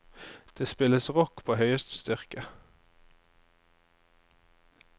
Det spilles rock på høyeste styrke.